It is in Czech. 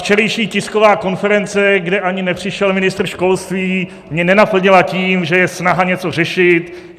Včerejší tisková konference, kde ani nepřišel ministr školství, mě nenaplnila tím, že je snaha něco řešit.